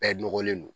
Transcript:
Bɛɛ nɔgɔlen don